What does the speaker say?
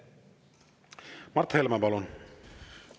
Mart Helme, palun!